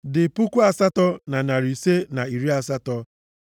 dị puku asatọ na narị ise na iri asatọ (8,580).